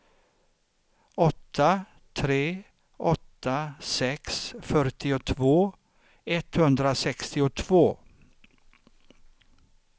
åtta tre åtta sex fyrtiotvå etthundrasextiotvå